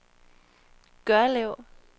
Gørlev